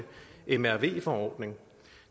mrv forordning